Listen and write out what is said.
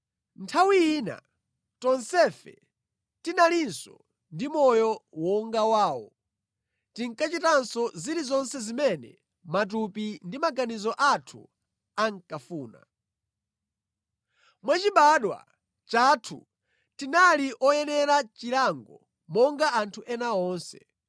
Nthawi ina tonsefe tinalinso ndi moyo wonga wawo, tinkachitanso zilizonse zimene matupi ndi maganizo athu ankafuna. Mwachibadwa chathu, tinali oyenera chilango monga anthu ena onse.